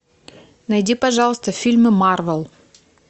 найди пожалуйста фильмы марвел